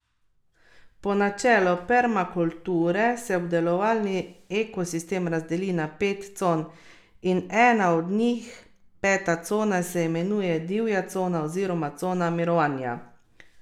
Po načelu permakulture se obdelovalni ekosistem razdeli na pet con in ena od njih, peta cona, se imenuje divja cona oziroma cona mirovanja.